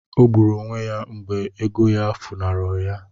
Ọ gburu onwe ya mgbe ego ya funahụrụ ya